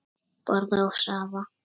Borða og sofa.